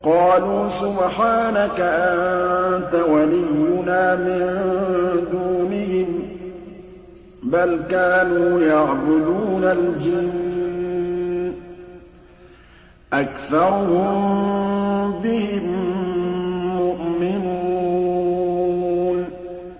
قَالُوا سُبْحَانَكَ أَنتَ وَلِيُّنَا مِن دُونِهِم ۖ بَلْ كَانُوا يَعْبُدُونَ الْجِنَّ ۖ أَكْثَرُهُم بِهِم مُّؤْمِنُونَ